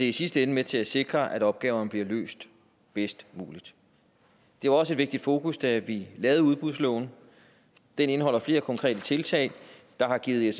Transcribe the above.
i sidste ende med til at sikre at opgaverne bliver løst bedst muligt det var også et vigtigt fokus da vi lavede udbudsloven den indeholder flere konkrete tiltag der har givet